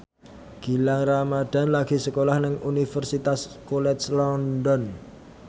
Gilang Ramadan lagi sekolah nang Universitas College London